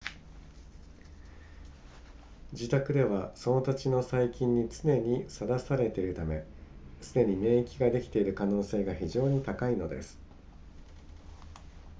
自宅ではその土地の細菌に常にさらされているためすでに免疫ができている可能性が非常に高いのです